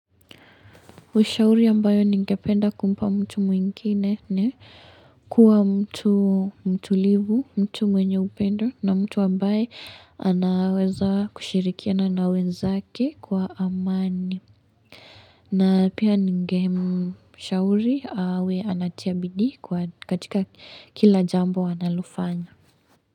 Ushauri ambayo ningependa kumpa mtu mwingine ni kuwa mtu mtulivu, mtu mwenye upendo na mtu ambaye anaweza kushirikiana na wenzake kwa amani. Na pia ningemshauri awe anatia bidii kwa katika kila jambo analofanya.